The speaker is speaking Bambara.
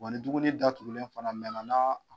Ɔ ni dumuni datugulen fana mɛnan